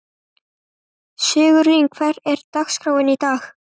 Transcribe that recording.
Sigurlín, hvernig er dagskráin í dag?